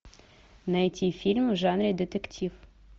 найти фильм в жанре детектив